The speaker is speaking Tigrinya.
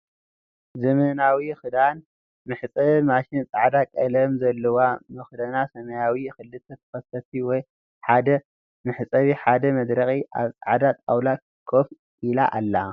ዘመናዊ ክዳን መሕፀቢ ማሽን ፃዕዳ ቀለም ዘላዋ መክደና ሰማያዊ ክልተ ተከፋቲ ሓደ መሕጸቢ ሓደ መድረቂ ኣብ ፃዕዳ ጣውላ ኮፍ ኢላ ኣላ።